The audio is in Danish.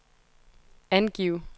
angiv